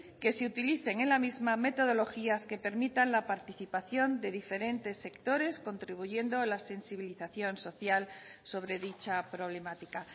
que se utilicen en la misma metodologías que permitan la participación de diferentes sectores contribuyendo la sensibilización social sobre dicha problemática